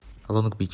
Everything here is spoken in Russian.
лонг бич